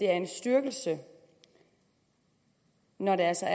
er en styrkelse når altså